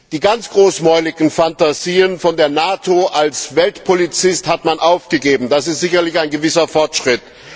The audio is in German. Die ganz großmäuligen Phantasien von der NATO als Weltpolizist hat man aufgegeben, das ist sicherlich ein gewisser Fortschritt.